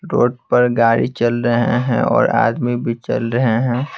Road पर गाड़ी चल रहे हैं और आदमी भी चल रहे हैं।